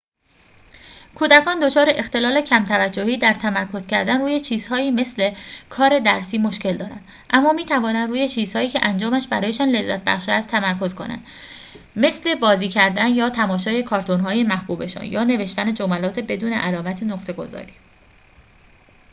کودکان دچار اختلال کم‌توجهی در تمرکز کردن روی چیزهایی مثل کار درسی مشکل دارند اما می‌توانند روی چیزهایی که انجامش برایشان لذت‌بخش است تمرکز کنند مثل بازی کردن یا تماشای کارتون‌های محبوبشان یا نوشتن جملات بدون علائم نقطه‌گذاری